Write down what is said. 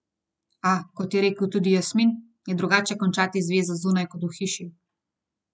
A, kot je rekel tudi Jasmin, je drugače končati zvezo zunaj kot v hiši.